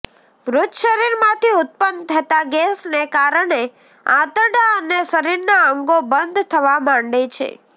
મૃત શરીરમાંથી ઉત્પન થતા ગેસને કારણે આંતરડા અને શરીરના અંગો બંધ થવા માંડે છે